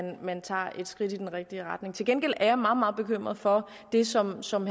man tager et skridt i den rigtige retning til gengæld er jeg meget meget bekymret for det som som